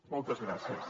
moltes gràcies